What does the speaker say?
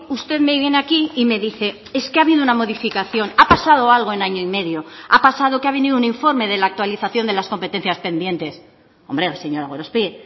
usted me viene aquí y me dice es que ha habido una modificación ha pasado algo en año y medio ha pasado que ha venido un informe de la actualización de las competencias pendientes hombre señora gorospe